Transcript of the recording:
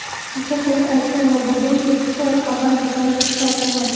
Qisqacha qilib aytganda, bugungi Xitoy avvalgi zaif Xitoy emas.